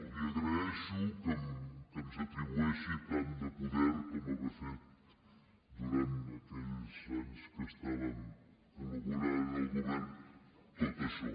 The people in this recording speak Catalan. li agraeixo que ens atribueixi tant de poder com haver fet durant aquells anys que estàvem col·laborant en el govern tot això